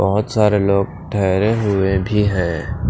बहुत सारे लोग ठहरे हुए भी हैं।